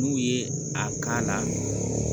N'u ye a la